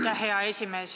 Aitäh, hea esimees!